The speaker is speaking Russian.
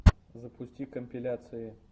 запусти компиляции